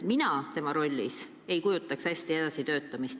Mina tema rollis ei kujutaks hästi ette edasi töötamist.